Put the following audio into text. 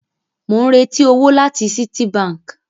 Mò ń retí owó láti Citibank